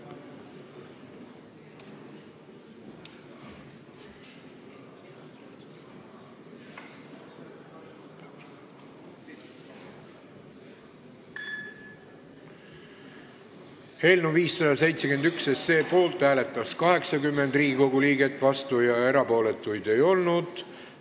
Hääletustulemused Eelnõu 571 poolt hääletas 80 Riigikogu liiget, vastuolijaid ega erapooletuid ei olnud.